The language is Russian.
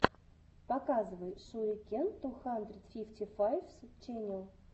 показывай шурикен ту хандред фифти файвс ченел